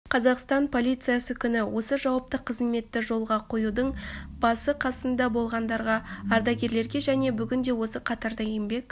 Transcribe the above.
қазақстан полициясы күні осы жауапты қызметті жолға қоюдың басы-қасында болғандарға ардагерлерге және бүгінде осы қатарда еңбек